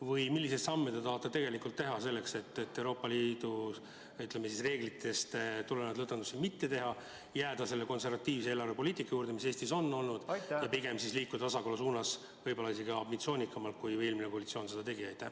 Või milliseid samme te tahate tegelikult teha selleks, et Euroopa Liidu reeglitest tulenevalt lõdvendusi mitte teha, jääda selle konservatiivse eelarvepoliitika juurde, mis Eestis on olnud ja pigem liikuda tasakaalu suunas võib-olla isegi ambitsioonikamalt, kui eelmine koalitsioon seda tegi?